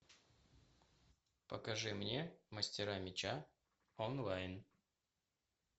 покажи мне мастера меча онлайн